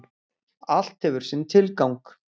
Allt hefur sinn tilgang.